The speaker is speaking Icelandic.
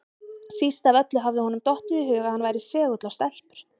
Síst af öllu hafði honum dottið í hug að hann væri segull á stelpur!